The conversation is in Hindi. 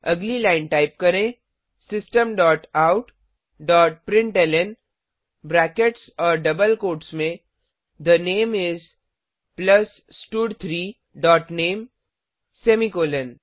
अगली लाइन टाइप करें system dot out dot println brackets और डबल कोट्स में थे नामे इस प्लस स्टड3 डॉट नामे सेमीकॉलन